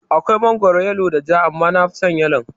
Akwai mangoro yalo da ja, amma nafison yalon